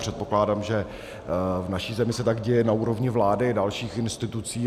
Předpokládám, že v naší zemi se tak děje na úrovni vlády a dalších institucí.